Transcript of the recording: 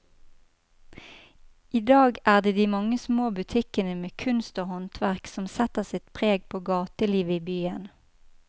I dag er det de mange små butikkene med kunst og håndverk som setter sitt preg på gatelivet i byen.